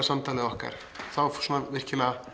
samtalið okkar við